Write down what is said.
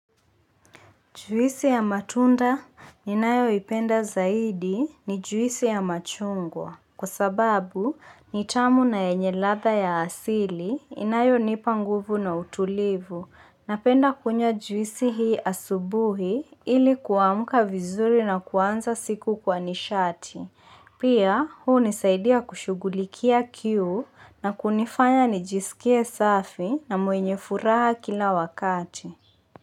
Juisi ya matunda ninayoipenda zaidi ni juisi ya machungwa. Kwa sababu, ni tamu na enye latha ya asili inayonipa nguvu na utulivu. Napenda kunywa juisi hii asubuhi ili kuamuka vizuri na kuanza siku kwa nishati. Pia, huu hunisaidia kushugulikia kiu na kunifanya nijisikie safi na mwenye furaha kila wakati.